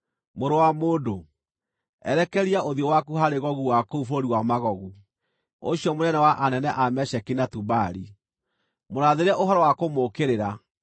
“Mũrũ wa mũndũ, erekeria ũthiũ waku harĩ Gogu wa kũu bũrũri wa Magogu, ũcio mũnene wa anene a Mesheki na Tubali; mũrathĩre ũhoro wa kũmũũkĩrĩra,